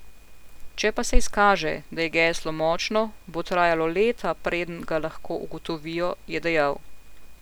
Če pa se izkaže, da je geslo močno, bo trajalo leta, preden ga lahko ugotovijo, je dejal.